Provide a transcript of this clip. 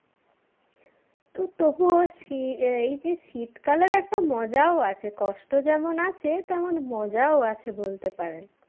তো তবুও শী আহ এইযে শীতকালের একটা মজাও আছে কষ্ট যেমন আছে তেমন মজাও আছে বলতে পারেন